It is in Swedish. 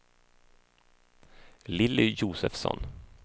Lilly Josefsson